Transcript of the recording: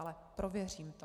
Ale prověřím to.